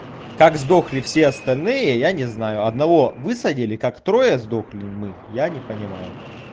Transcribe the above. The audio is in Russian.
как сдохли все остальные я не знаю одного высадили как трое сдохли мы я не понимаю